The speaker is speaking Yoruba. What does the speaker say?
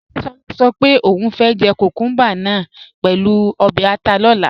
Adéṣolá sọ pé ọún fẹ́ jẹ́ kúkùmbà náà pẹ̀lú obè̩ àtà lọ̀là.